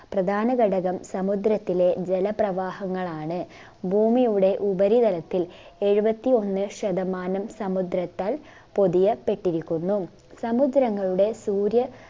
പ്രധാന ഘടകം സമുദ്രത്തിലെ ജല പ്രവാഹങ്ങളാണ് ഭൂമിയുടെ ഉപരിതലത്തിൽ എഴുപത്തി ഒന്ന് ശതമാനം സമുദ്രത്താൽ പൊതിയപ്പെട്ടിരിക്കുന്നു സമുദ്രങ്ങളുടെ സൂര്യ